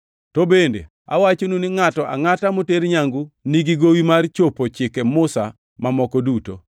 To bende awachonu ni ngʼato angʼata moter nyangu nigi gowi mar chopo Chike Musa mamoko duto.